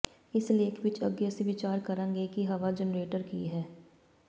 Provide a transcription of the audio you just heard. ਇਸ ਲੇਖ ਵਿਚ ਅੱਗੇ ਅਸੀਂ ਵਿਚਾਰ ਕਰਾਂਗੇ ਕਿ ਹਵਾ ਜਨਰੇਟਰ ਕੀ ਹੈ